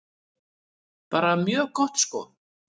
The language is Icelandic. Bara mjög gott sko.